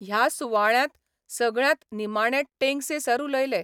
ह्या सुवाळ्यांत सगळ्यांत निमाणे टेंगसे सर उलयले.